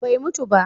Bai mutu ba